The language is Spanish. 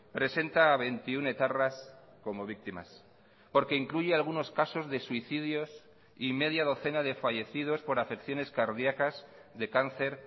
presenta a veintiuno etarras como víctimas porque incluye algunos casos de suicidios y media docena de fallecidos por afecciones cardiacas de cáncer